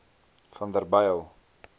vanderbijl